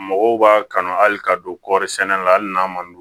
Mɔgɔw b'a kanu hali ka don kɔri sɛnɛ la hali n'a ma